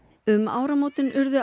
um áramótin urðu